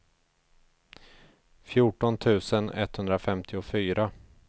fjorton tusen etthundrafemtiofyra